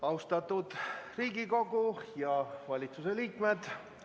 Austatud Riigikogu ja valitsuse liikmed!